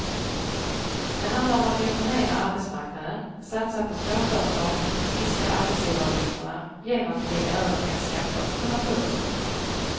Det handlar om att reformera arbetsmarknaden, satsa på småföretag och minska arbetsgivaravgifterna genom att lägga över mer skatter på naturresurser.